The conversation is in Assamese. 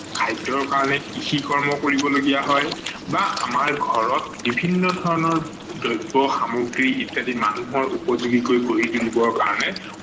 খাদ্য বাবে কৃষি কৰ্ম কৰিব লগা হয় বা আমাৰ ঘৰত বিভিন্ন ধৰনৰ দ্ৰ্ব্য-সামগ্ৰী ইত্যাদি মানুহৰ উপযোগী কৰি গঢ়ি তুলিবৰ কাৰনে